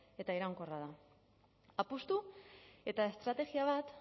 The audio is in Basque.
eta iraunkorra da apustu eta estrategia bat